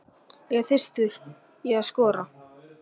Ég er þyrstur í að skora.